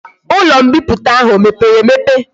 Ulo mbiputa ahu o mepere emepe?